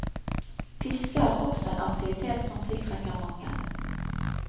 Fiske er også en aktivitet som tiltrekker mange.